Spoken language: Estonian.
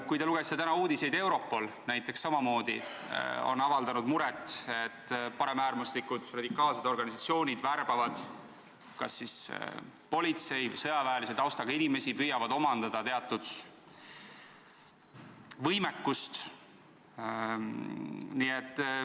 Kui te lugesite täna uudiseid, siis nägite, et Europol on samamoodi avaldanud muret, et paremäärmuslikud radikaalsed organisatsioonid värbavad kas politsei- või sõjaväetaustaga inimesi ning püüavad omandada teatud võimekust.